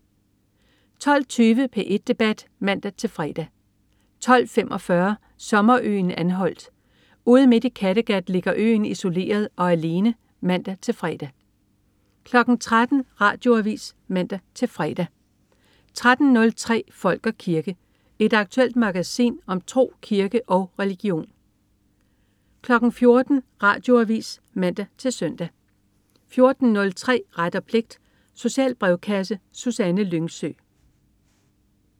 12.20 P1 debat (man-fre) 12.45 Sommerøen Anholt. Ude midt i Kattegat ligger øen isoleret og alene (man-fre) 13.00 Radioavis (man-fre) 13.03 Folk og kirke. Et aktuelt magasin om tro, kirke og religion 14.00 Radioavis (man-søn) 14.03 Ret og pligt. Social brevkasse. Susanne Lyngsø